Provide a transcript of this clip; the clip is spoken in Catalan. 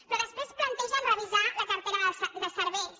però després plantegen revisar la cartera de serveis